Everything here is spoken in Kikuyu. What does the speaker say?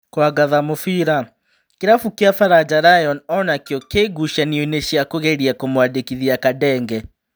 (Kũangatha Mũbĩra) Kĩrabu kĩa Baranja Lion onakĩo kĩngucanioinĩ cia kũgeria kũmwandĩkithia Kandenge.